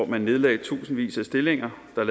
man nedlagde tusindvis af stillinger der